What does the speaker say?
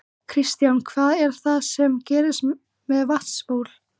Kristján: Hvað er það sem gerist með vatnsbólin?